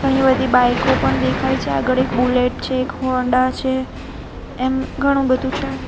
ઘણી બધી બાઈકો પણ દેખાય છે આગળ એક બુલેટ છે એક હોન્ડા છે એમ ઘણું બધું છે.